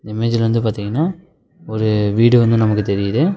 இந்த இமேஜ்ல வந்து பாத்தீங்ன்னா ஒரு வீடு வந்து நமக்கு தெரியுது.